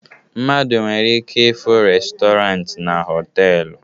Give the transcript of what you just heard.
Mmadụ nwere ike ịfụ restọrant na họtelu